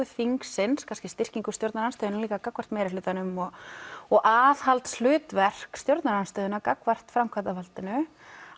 þingsins kannski styrkingu stjórnarandstöðunnar líka gagnvart meirihlutanum og og aðhaldshlutverk stjórnarandstöðunnar gagnvart framkvæmdarvaldinu